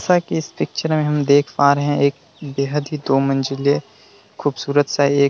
जैसा कि इस पिक्चर में हम देख पा रहे है एक बेहद ही दो मंजिले ख़ूबसूरत सा एक --